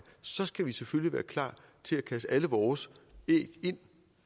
så skal vi selvfølgelig være klar til at kaste alle vores æg